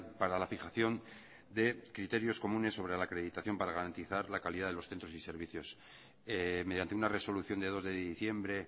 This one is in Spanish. para la fijación de criterios comunes sobre la acreditación para garantizar la calidad de los centros y servicios mediante una resolución de dos de diciembre